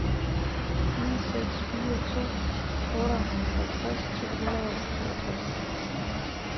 ni seks fire to otteoghalvtreds tre hundrede og toogtres